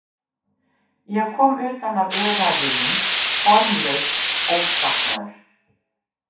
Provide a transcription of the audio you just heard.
Ég kom utan af öræfunum, formlaus óskapnaður.